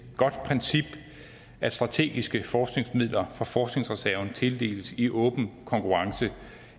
godt princip at strategiske forskningsmidler fra forskningsreserven tildeles i åben konkurrence